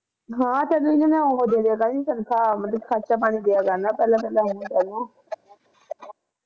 ਹਾਂ ਸ਼ਗਨ ਤੇ ਮੈਂ ਉਹ ਦੇ ਦੀਆ ਕਰਿ ਤਨਖਾਹ ਖਰਚਾ ਪਾਣੀ ਦੀਆ ਕਰਨਾ ਪਹਿਲਾ ਪਹਿਲਾ